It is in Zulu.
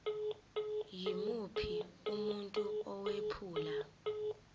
yimuphi umuntu owephula